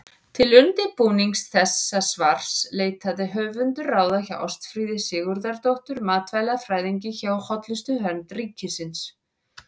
Til undirbúnings þessa svars leitaði höfundur ráða hjá Ástfríði Sigurðardóttur matvælafræðingi hjá Hollustuvernd ríkisins.